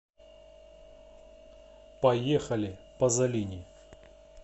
поехали пазолини